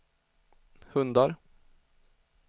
hundar